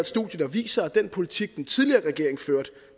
studie der viser at den politik den tidligere regering førte